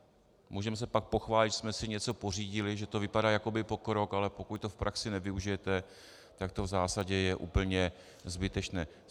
Můžeme se pak pochválit, že jsme si něco pořídili, že to vypadá jakoby pokrok, ale pokud to v praxi nevyužijete, tak to v zásadě je úplně zbytečné.